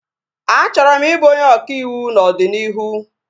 A chọrọ m ị bụ onye ọka ịwụ n'ọdịnihu